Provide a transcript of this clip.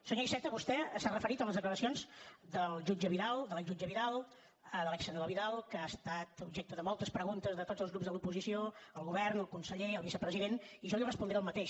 senyor iceta vostè s’ha referit a les declaracions del jutge vidal de l’exjutge vidal de l’exsenador vidal que ha estat objecte de moltes preguntes de tots els grups de l’oposició al govern al conseller al vicepresident i jo li respondré el mateix